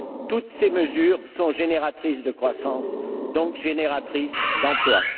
Toutes ces mesures sont génératrices de croissance, donc génératrices d'emplois.